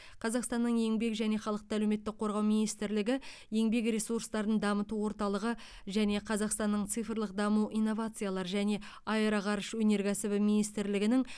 қазақстанның еңбек және халықты әлеуметтік қорғау министрлігі еңбек ресурстарын дамыту орталығы және қазақстанның цифрлық даму инновациялар және аэроғарыш өнеркәсібі министрлігінің